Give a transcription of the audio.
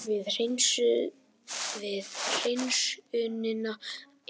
Við hreinsunina